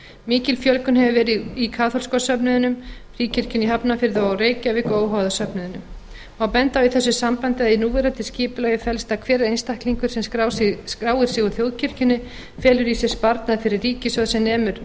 mikil fjölgun hefur verið í kaþólska söfnuðinum fríkirkjunni í hafnarfirði og reykjavík og óháða söfnuðinum má benda á í þessu sambandi að í núverandi skipulagi felst að hver einstaklingur sem skráir sig úr þjóðkirkjunni felur í sér sparnað fyrir ríkissjóð sem nemur